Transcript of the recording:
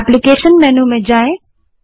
application menu में जाएँ